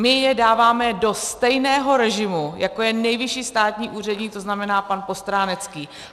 My je dáváme do stejného režimu, jako je nejvyšší státní úředník, to znamená pan Postránecký.